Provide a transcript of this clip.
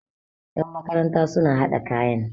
yan makaranta suna hada kayan